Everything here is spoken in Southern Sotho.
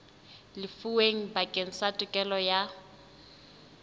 lefuweng bakeng sa tokelo ya